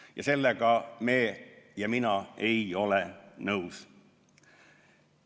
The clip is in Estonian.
Ja sellega me ja mina ei ole nõus.